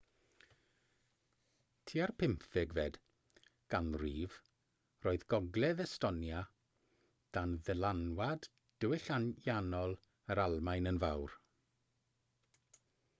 tua'r 15fed ganrif roedd gogledd estonia dan ddylanwad diwylliannol yr almaen yn fawr